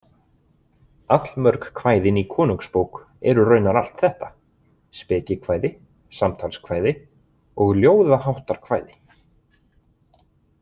Allmörg kvæðin í Konungsbók eru raunar allt þetta: spekikvæði, samtalskvæði og ljóðaháttarkvæði.